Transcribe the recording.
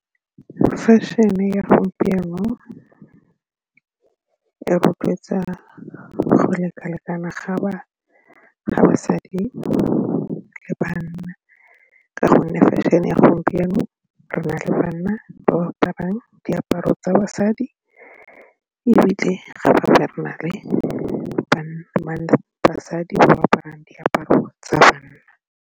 Fashion-e ya segompieno e rotloetsa go leka-lekana ga basadi le banna ka gonne fashion e ya gompieno re na le banna ba ba aparang diaparo tsa basadi ebile ga ba banna le basadi ba aparang diaparo tsa banna.